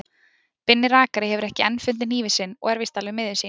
Binni rakari hefur enn ekki fundið hnífinn sinn og er víst alveg miður sín.